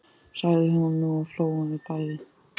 sagði hún og nú hlógum við bæði.